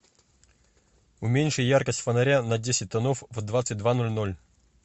уменьши яркость фонаря на десять тонов в двадцать два ноль ноль